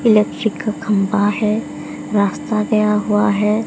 Electrical खंभा है रास्ता गया हुआ है।